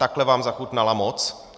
Takhle vám zachutnala moc?